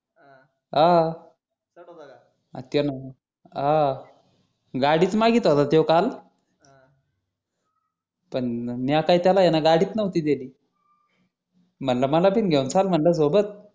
अह अह गाडीचं मागील होता तो काल पण मी आता त्याला हे न गाडीचं नहोती दिली म्हणलं मला पण घेऊन चाल म्हणलं सोबत